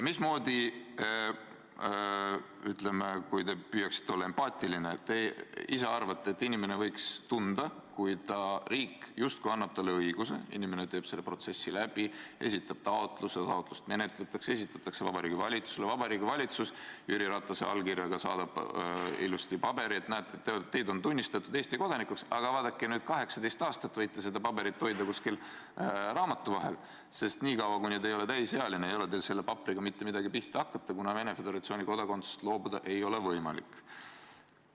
Mismoodi – ütleme, kui te püüaksite olla empaatiline – te ise arvate, et inimene võiks end tunda, kui riik justkui annab talle õiguse, inimene teeb selle protsessi läbi, esitab taotluse, taotlust menetletakse, see esitatakse Vabariigi Valitsusele, Vabariigi Valitsus Jüri Ratase allkirjaga saadab ilusti paberi, et näete, teid on tunnistatud Eesti kodanikuks, aga vaadake, 18 aastat võite seda paberit hoida kuskil raamatu vahel, sest niikaua, kui te ei ole täisealine, ei ole teil selle paberiga mitte midagi pihta hakata, kuna Venemaa Föderatsiooni kodakondsusest loobuda ei ole teil võimalik.